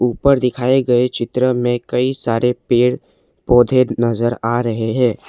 ऊपर दिखाए गए चित्र में कई सारे पेड़ पौधे नजर आ रहे हैं।